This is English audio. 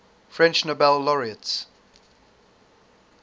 french nobel laureates